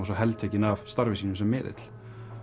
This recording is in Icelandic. svo heltekin af starfi sínu sem miðill